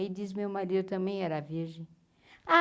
Aí diz o meu marido também era virgem.